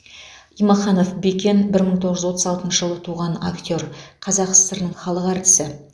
имаханов бекен бір мың тоғыз жүз отыз алтыншы жылы туған актер қазақ сср інің халық әртісі